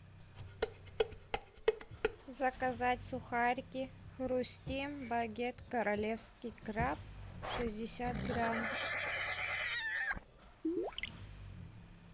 заказать сухарики хрустим багет королевский краб шестьдесят грамм